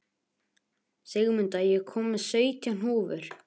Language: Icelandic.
Sigmunda, ég kom með sautján húfur!